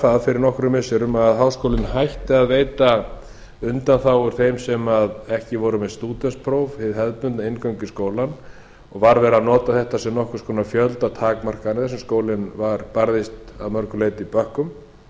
það fyrir nokkrum missirum að háskólinn hætti að veita undanþágur þeim sem ekki voru með stúdentspróf við hefðbundna inngöngu í skólann og var verið að nota þetta sem nokkurs konar fjöldatakmarkanir þar sem skólinn barðist að mörgu leyti í bökkum